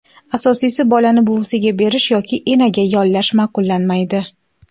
Asosiysi, bolani buvisiga berish yoki enaga yollash ma’qullanmaydi.